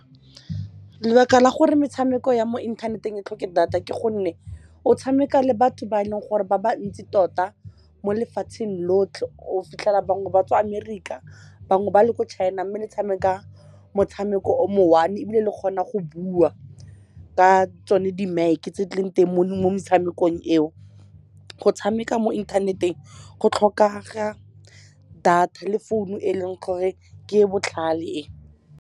Lebaka la gore metshameko ya mo inthaneteng e tlhoke data ke gonne o tshameka le batho ba e leng gore ba ba ntsi tota mo lefatsheng lotlhe. O fitlhela bangwe ba tswa America, bangwe ba le kwa China, mme le tshameka motshameko o mo one-e, ebile le kgona go bua ka tsone di-mic-e tse di leng teng mo metshamekong eo. Go tshameka mo inthaneteng go tlhokega data le founu eleng gore ke e e botlhale e.